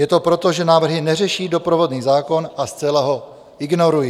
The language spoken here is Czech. Je to proto, že návrhy neřeší doprovodný zákon a zcela ho ignorují.